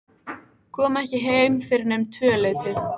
Kom ekki heim fyrr en um tvöleytið.